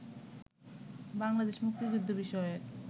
বাংলাদেশের মুক্তিযুদ্ধবিষয়ক